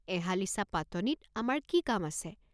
এহালিচা পাতনিত আমাৰ কি কাম আছে?